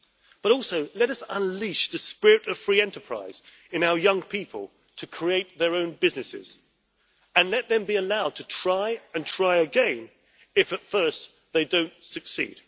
But also, let us unleash the spirit of free enterprise in our young people to create their own businesses, and let them be allowed to try and try again if at first they do not succeed.